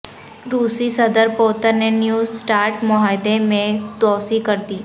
روسی صدر پوتن نے نیو سٹارٹ معاہدے میں توسیع کر دی